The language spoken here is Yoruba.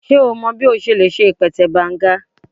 Ṣe o mọ bi o ṣe le ṣe ipẹtẹ Banga?